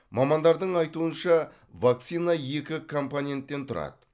мамандардың айтуынша вакцина екі компоненттен тұрады